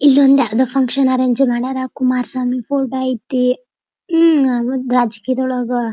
ಇದೊಂದು ಯಾವ್ದೋ function arrange ಮಾಡ್ಯಾರ ಕುಮಾರಿ ಸ್ವಾಮಿ ಫೋಟೋ ಅಯ್ತಿ ಉಹ್ಹ್ ರಾಜಕೀಯದೊಳಗ --